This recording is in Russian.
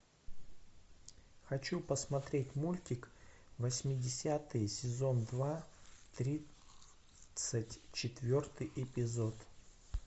хочу посмотреть мультик восьмидесятые сезон два тридцать четвертый эпизод